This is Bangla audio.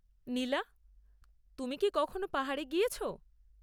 নীলা, তুমি কি কখনো পাহাড়ে গিয়েছ?